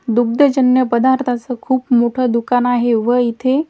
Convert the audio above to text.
दुग्धजन्य पदार्थाच खूप मोठं दुकान आहे व इथे--